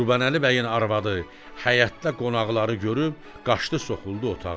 Qurbanəli bəyin arvadı həyətdə qonaqları görüb qaçdı soxuldu otağa.